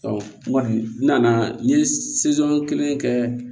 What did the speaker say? n kɔni n nana n ye kelen kɛ